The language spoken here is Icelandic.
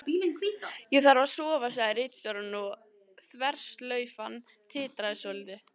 Ég þarf að sofa, sagði ritstjórinn og þverslaufan titraði svolítið.